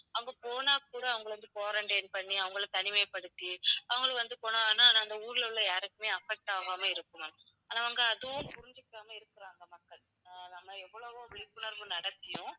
அவங்க போனாக்கூட அவங்களை வந்து quarantine பண்ணி அவங்களை தனிமைப்படுத்தி அவங்களும் வந்து போனாங்கன்னா அந்த ஊர்ல உள்ள யாருக்குமே affect ஆகாம இருக்கும் ma'am. ஆனா அவங்க அதுவும் புரிஞ்சுக்காம இருக்குறாங்க மக்கள் அஹ் நம்ம எவ்வளவோ விழிப்புணர்வு நடத்தியும்